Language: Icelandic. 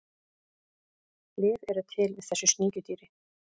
lyf eru til við þessu sníkjudýri